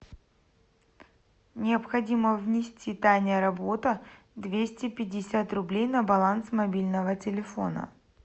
необходимо внести таня работа двести пятьдесят рублей на баланс мобильного телефона